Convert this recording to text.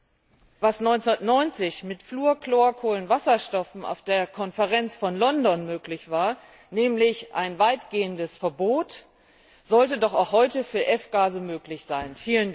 Was 1990 mit Fluorchlorkohlenwasserstoffen auf der Konferenz von London möglich war, nämlich ein weitgehendes Verbot, sollte doch auch heute für F Gase möglich sein.